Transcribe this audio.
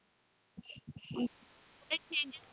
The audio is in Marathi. changes